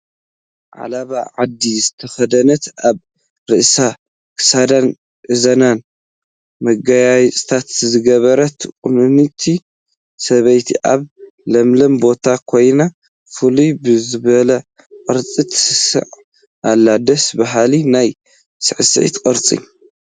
ዓለባ ዓዲ ዝተኸደነት ኣብ ርእሳ፣ ክሳዳን እዝናን መጋየፅታት ዝገበረት ቁንንቲ ሰበይቲ ኣብ ለምለም ቦታ ኮይና ፍልይ ብዝበለ ቅርፂ ትስዕስዕ ኣላ፡፡ ደስ በሃሊ ናይ ስዕስዒት ቅርፂ፡፡